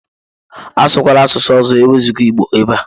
Asụkwala asụsụ ọzọ ewezuga Igbo ebe a!